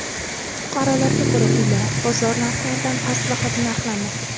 Fuqarolarga ko‘ra, uylar bozor narxlaridan past bahoda narxlanmoqda.